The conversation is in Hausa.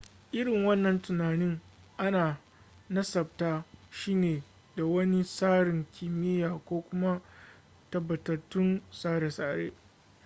irin wannan tunanin ana nasabta shi ne da wani tsarin kimiyya ko kuma tabbatattun tsare-tsare